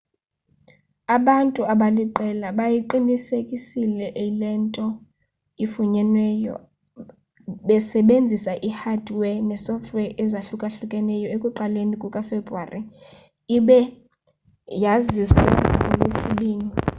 abantu abaliqela bayiqinisekisile le nto ifunyenweyo besebenzisa i-hardware ne-sofware ezahlukahlukeneyo ekuqaleni kukafebuwari ibe yaziswe ngolwesibini